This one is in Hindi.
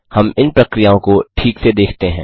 हम इन प्रक्रियाओं को ठीक से देखते हैं